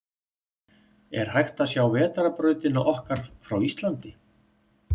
Er hægt að sjá Vetrarbrautina okkar frá Íslandi?